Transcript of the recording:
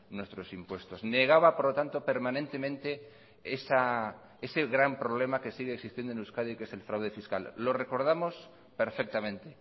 nuestros impuestos negaba por lo tanto permanentemente ese gran problema que sigue existiendo en euskadi que es el fraude fiscal lo recordamos perfectamente